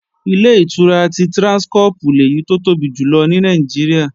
Ilé-ìtura ti Tráńskọ́pù lèyí tó tóbi jù lọ ní Nàìjíríà